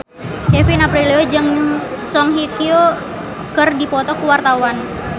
Kevin Aprilio jeung Song Hye Kyo keur dipoto ku wartawan